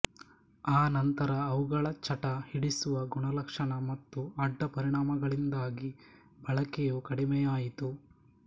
ಆ ನಂತರ ಅವುಗಳ ಚಟ ಹಿಡಿಸುವ ಗುಣಲಕ್ಷಣ ಮತ್ತು ಅಡ್ಡ ಪರಿಣಾಮಗಳಿಂದಾಗಿ ಬಳಕೆಯು ಕಡಿಮೆಯಾಯಿತು